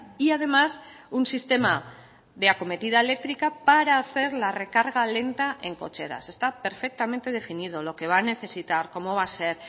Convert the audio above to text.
y además un sistema de acometida eléctrica para hacer la recarga lenta en cocheras está perfectamente definido lo que va a necesitar cómo va a ser